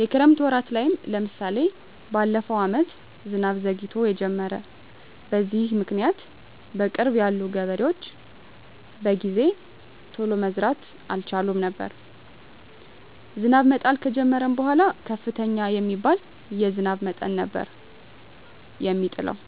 የክረምት ወራት ላይም ለምሳሌ በለፈው አመት ዝናብ ዘግይቶ የጀመረው። በዚህም ምክኒያት በቅርብ ያሉ ገበሬዎች በጊዜ ቶሎ መዝራት አልቻሉም ነበር። ዝናብ መጣል ከጀመረም በኃላ ከፍተኛ የሚባል የዝናብ መጠን ነበር የሚጥለው።